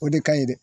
O de ka ɲi dɛ